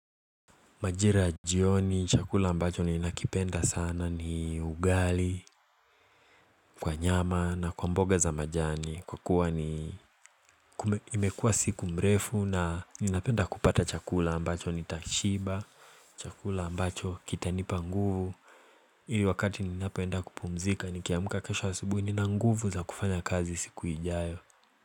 Majira ya jioni chakula ambacho ni nakipenda sana ni ugali Kwa nyama na kwa mboga za majani kwa kuwa ni imekua siku mrefu na ninapenda kupata chakula ambacho ni tashiba Chakula ambacho kita nipa nguvu Hili wakati ninapoenda kupumzika nikiamka kesho asubuhi ninanguvu za kufanya kazi siku ijayo.